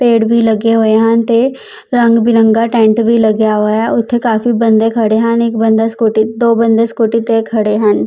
ਪੇੜ ਵੀ ਲੱਗੇ ਹੋਏ ਹਨ ਤੇ ਰੰਗ ਬਿਰੰਗਾ ਟੈਂਟ ਵੀ ਲੱਗਿਆ ਹੋਇਆ ਉੱਥੇ ਕਾਫੀ ਬੰਦੇ ਖੜੇ ਹਨ ਇੱਕ ਬੰਦਾ ਸਕੂਟੀ ਦੋ ਬੰਦੇ ਸਕੂਟੀ ਤੇ ਖੜੇ ਹਨ।